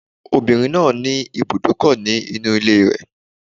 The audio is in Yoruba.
The woman has a car park in her house